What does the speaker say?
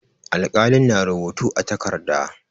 Alƙalin na rubutu a takarda.